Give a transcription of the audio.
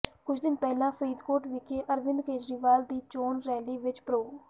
ਕੁਝ ਦਿਨ ਪਹਿਲਾਂ ਫ਼ਰੀਦਕੋਟ ਵਿਖੇ ਅਰਵਿੰਦ ਕੇਜਰੀਵਾਲ ਦੀ ਚੋਣ ਰੈਲੀ ਵਿੱਚ ਪ੍ਰੋ